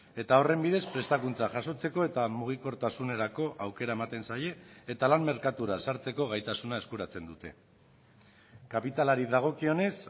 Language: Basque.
eta horren bidez prestakuntza jasotzeko eta mugikortasunerako aukera ematen zaie eta lan merkatura sartzeko gaitasuna eskuratzen dute kapitalari dagokionez